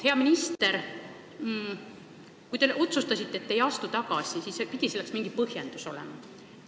Hea minister, kui te otsustasite, et ei astu tagasi, siis pidi selleks mingi põhjus olema.